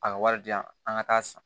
A ka wari di yan an ka taa san